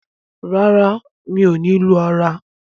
ràrá mio ní lù ara.